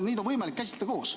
Neid on võimalik käsitleda koos.